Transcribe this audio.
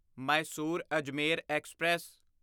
Mysore Ajmer express